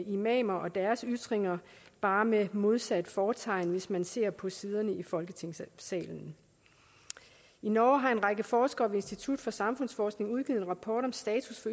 imamer og deres ytringer bare med modsat fortegn hvis man ser på siderne her i folketingssalen i norge har en række forskere på institut for samfundsforskning udgivet en rapport om status